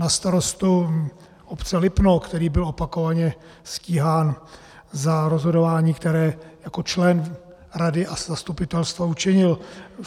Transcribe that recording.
Na starostu obce Lipno, který byl opakovaně stíhán za rozhodování, které jako člen rady a zastupitelstva učinil.